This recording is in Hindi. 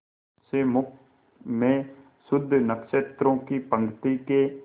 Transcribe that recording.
से मुख में शुद्ध नक्षत्रों की पंक्ति के